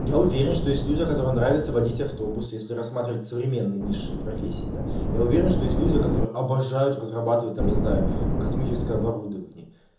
я уверен что есть люди которым нравится водить автобус если рассматривать современные нисшие профессии да я уверен что есть люди которые обожают разрабатывать там не знаю космическое оборудование